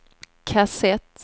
kassett